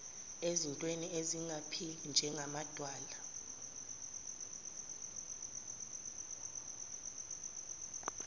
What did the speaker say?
ezintweni ezingaphili njengamadwala